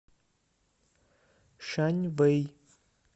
шаньвэй